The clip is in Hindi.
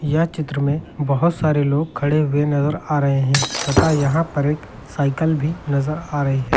यह चित्र में बहुत सारे लोग खड़े हुए नजर आ रहे हैं तथा यहां पर साइकल भी नजर आ रही है।